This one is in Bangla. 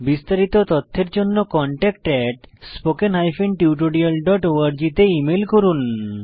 বিস্তারিত তথ্যের জন্য contactspoken tutorialorg তে ইমেল করুন